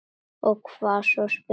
Og hvað svo, spyr hún.